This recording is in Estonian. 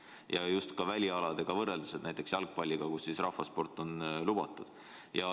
Küsin just välialadega võrreldes, näiteks jalgpalliga, kus rahvasport on lubatud.